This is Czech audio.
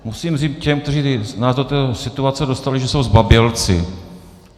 Musím říct těm, kteří nás do této situace dostali, že jsou zbabělci.